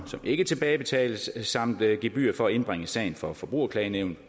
som ikke tilbagebetales samt et gebyr for at indbringe sagen for forbrugerklagenævnet på